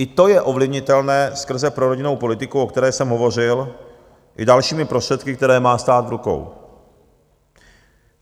I to je ovlivnitelné skrze prorodinnou politiku, o které jsem hovořil, i dalšími prostředky, které má stát v rukou.